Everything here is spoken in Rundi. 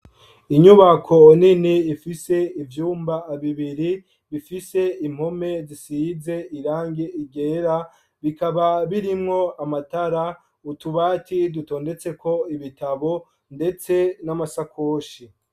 Inyubako nini, ifise ivyumba bibiri, bifise impome zisize irangi ryera; bikaba birimwo amatara, utubati dutondetseko ibitabo, ndetse n'amasakoshi.